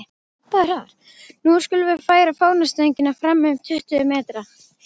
Nú skulum við færa fánastöngina fram um tuttugu metra.